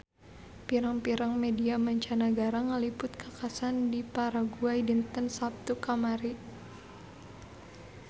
Pirang-pirang media mancanagara ngaliput kakhasan di Paraguay dinten Saptu kamari